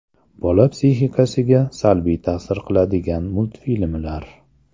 Bola psixikasiga salbiy ta’sir qiladigan multfilmlar.